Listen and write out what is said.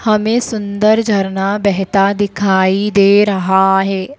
हमे सुंदर झरना बहता दिखाई दे रहा है।